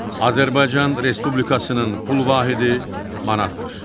Azərbaycan Respublikasının pul vahidi manatdır.